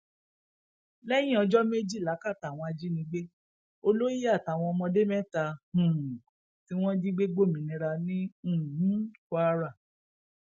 lẹyìn ọjọ méjì lákàtà àwọn ajínigbé olóyè àtàwọn ọmọdé mẹta um tí wọn jí gbé gbòmìnira ní um kwara